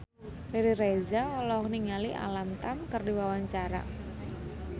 Riri Reza olohok ningali Alam Tam keur diwawancara